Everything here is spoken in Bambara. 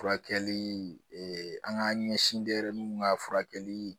Furakɛli an k'an ɲɛsin denyɛrɛninw ka furakɛli